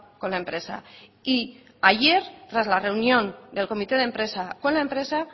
con la empresa y ayer tras la reunión del comité de empresa con la empresa